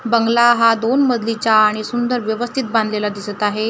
बंगला हा दोन मजलीचा आणि सुंदर व्यवस्थित बांधलेला दिसत आहे .